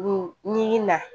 Ni na